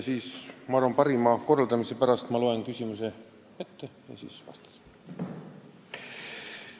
Ma arvan, et parim asjakorraldus on, kui ma loen küsimuse ette ja siis vastan.